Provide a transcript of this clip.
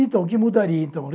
Então, o que mudaria então?